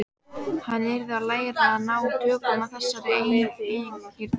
Hann yrði að læra að ná tökum á þessari eigingirni.